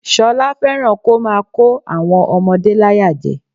Ṣọlá fẹ́ràn kó máa kó àwọn ọmọdé láyàjẹ